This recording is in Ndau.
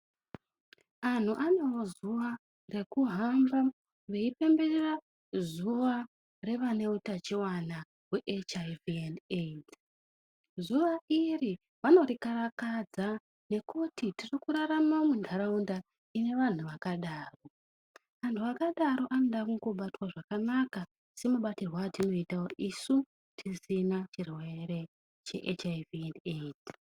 Antu anemazuwa ekuhamba veyipemberera zuwa revane utachiwana weHIV endi AIDS, zuwa iri vanorikarakadza ngekuti tiri kurarama mundaraunda ine vantu vakadaro, antu akadaro anoda kungobatwa zvakanaka, semabatirwo atinoita isu tisina chirwere cheHIV endi AIDS.